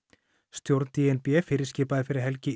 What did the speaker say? stjórn d n b fyrirskipaði fyrir helgi